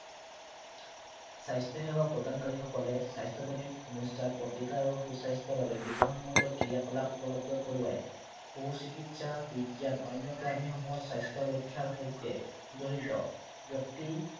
স্বাস্থ্য় সেৱা প্ৰদানকাৰীসকলে স্বাস্থ্য়জনিত সমস্য়াৰ প্ৰতিকাৰ আৰু সু-স্বাস্থ্য়ৰ বাবে বিজ্ঞানসন্মত ক্ৰিয়াকলাপ উপলব্ধ কৰোৱায়। সু চিকিৎসা বিজ্ঞান অন্য় প্ৰাণীসমূহৰ স্বাস্থ্য় ৰক্ষাৰ সৈতে জড়িত। ব্য়ক্তি